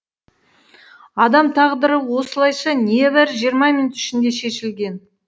адам тағдыры осылайша небәрі жиырма минут ішінде шешілген